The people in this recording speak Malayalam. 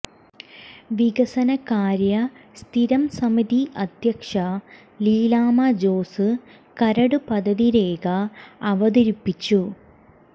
വികസന കാര്യ സ്ഥിരംസമിതി അധ്യക്ഷ ലീലാമ്മ ജോസ് കരട് പദ്ധതിരേഖ അവതരിപ്പിച്ചു